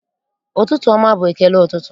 Ụtụtụ ọma bụ ekele ụtụtụ.